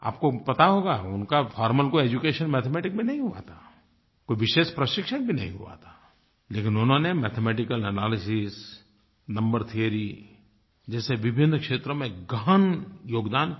आपको पता होगा उनका फॉर्मल कोई एड्यूकेशन मैथमेटिक्स में नहीं हुआ था कोई विशेष प्रशिक्षण भी नहीं हुआ था लेकिन उन्होंने मैथमेटिकल एनालिसिस नंबर थियोरी जैसे विभिन्न क्षेत्रों में गहन योगदान किया